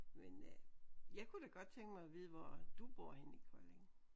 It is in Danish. Men øh jeg kunne da godt tænke mig at vide hvor du bor henne i Kolding